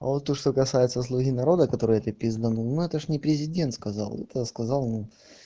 а вот то что касается слуги народа которые ты пизданула ну это ж не президент сказал это сказал ну